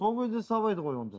сол кезде сабайды ғой онда